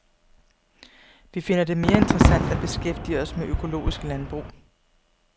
Vi finder det mere interessant at beskæftige os med økologisk landbrug.